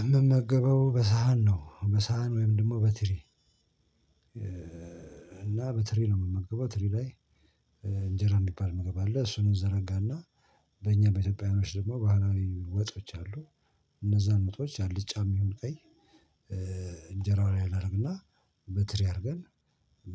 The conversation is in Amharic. እምመገበው በሳህን ነው በሳህን ወይም ደሞ በትሪ እና በትሪ ነው እምመገበው ትሪ ላይ እንጀራ እሚባል ምግብ አለ እሱን እንዘረጋና በእኛ በኢትዮጵያውያኖች ደሞ ባህላዊ ወጦች አሉ። እነዛን ወጦች አልጫም ይሁን ቀይ እንጀራው ላይ አናረግና በትሪ አርገን